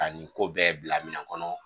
Ka nin ko bɛɛ bila minɛ kɔnɔ